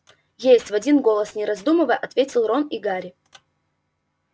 есть в один голос не раздумывая ответили рон и гарри